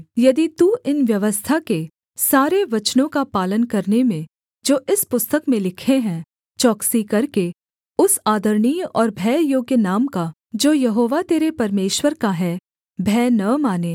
यदि तू इन व्यवस्था के सारे वचनों का पालन करने में जो इस पुस्तक में लिखे हैं चौकसी करके उस आदरणीय और भययोग्य नाम का जो यहोवा तेरे परमेश्वर का है भय न माने